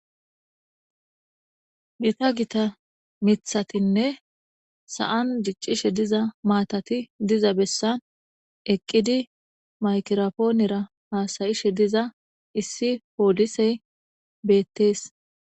Gitta gitta mithatine sa'ni diccishe matazi diza bessani eqidi makiraphonera hassayishe diza issi poliseyi bettesi